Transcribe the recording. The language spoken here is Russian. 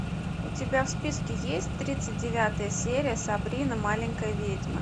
у тебя в списке есть тридцать девятая серия сабрина маленькая ведьма